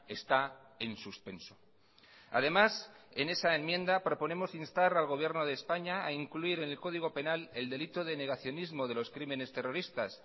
está en suspenso además en esa enmienda proponemos instar al gobierno de españa a incluir en el código penal el delito de negacionismo de los crímenes terroristas